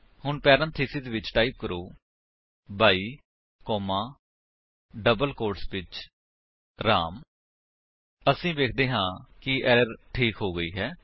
ਹੁਣ ਪੈਰੇਂਥੀਸਿਸ ਵਿੱਚ ਟਾਈਪ ਕਰੋ 22 ਕੋਮਾ ਡਬਲ ਕੋਟਸ ਵਿੱਚ ਰਾਮ ਅਸੀ ਵੇਖਦੇ ਹਾਂ ਕਿ ਐਰਰ ਠੀਕ ਹੋ ਗਈ ਹੈ